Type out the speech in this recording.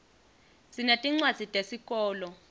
sinetincwadzi tesikolo